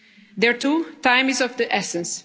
on the ground. There too, time